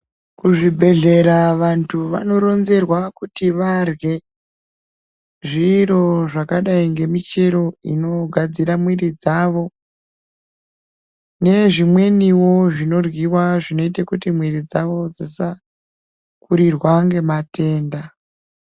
Kuzvibhedhlera vantu vanoronzerwa kuti varye zviro zvakadai ngemichero inogadzira mwiri dzawo nezvimweniwo zvinoryiwa zvinoite kuti mwiri dzawo dzisakurirwa nematenda.